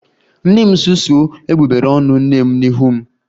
Nna m susuo egbugbere ọnụ nne m n'ihu m